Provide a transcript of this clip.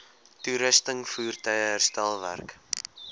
toerusting voertuie herstelwerk